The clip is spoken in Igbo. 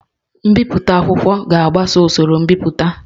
Mbipụta akwụkwọ ga-agbaso usoro mbipụta